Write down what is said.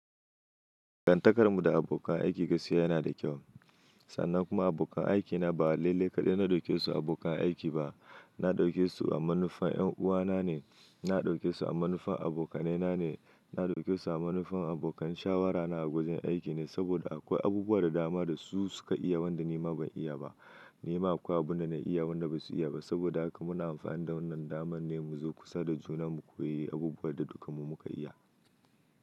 Dangan takar mu da abokan aiki gaskiya yana da kyau sannan kuma abokan aikina ba lalle kaɗai na ɗauke su abokan aiki ba na ɗauke su a manufar ƴan'uwana ne, na ɗauke su a manufar abokanaina ne, na ɗauke su a manufar abokan shawarana a wajen aiki ne saboda akwai abubuwan da dama da su suka iya wanda ni ma ban iya ba. Ni ma akwai abunda na iya wanda basu iya ba saboda haka muna amfani da wannan damar ne mu zo kusa da juna mu koyi abubuwan da dukanmu muka iya.